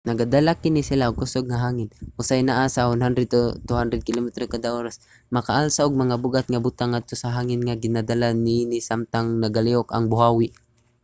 nagadala kini sila og kusog nga hangin usahay naa sa 100-200 kilometro kada oras ug makaalsa og mga bug-at nga butang ngadto sa hangin nga ginadala niini samtang nagalihok ang buhawi